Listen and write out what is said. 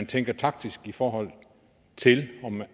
tænke taktisk i forhold til